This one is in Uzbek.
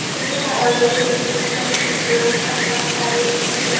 Umuman olganda O‘zbekiston uchun durang ham qoniqarli natija”.